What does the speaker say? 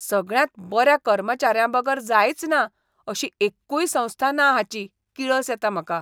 सगळ्यांत बऱ्या कर्मचाऱ्यांबगर जायचना अशी एक्कूय संस्था ना हाची किळस येता म्हाका.